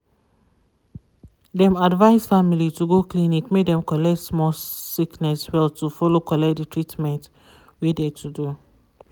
dem advice family to go clinic make dem collect small sickness well to follow collect de treatment wey de to do.